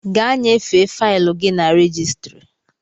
Gaa nyefee faịlụ gị na rejistịrị!